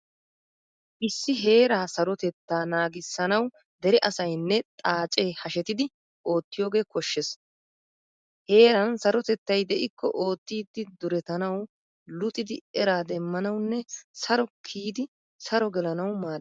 Issi heeraa sarotettaa naagissanawu dere asaynne xaacee hashettidi oottiyogee koshshees. Heeran sarotettay de'ikko oottidi duretanawu, luxidi eraa demmanawunne saro kiyidi saro gelanawu maaddees.